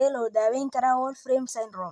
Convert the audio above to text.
Sidee loo daweyn karaa Wolfram syndrome?